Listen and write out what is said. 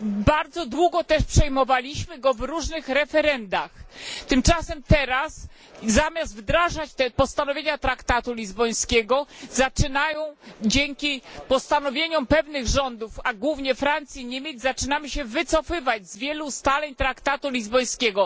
Bardzo długo też przyjmowaliśmy go w różnych referendach. Tymczasem teraz zamiast wdrażać postanowienia traktatu lizbońskiego dzięki postanowieniom pewnych rządów, a głównie Francji i Niemiec, zaczynamy się wycofywać z wielu ustaleń traktatu lizbońskiego.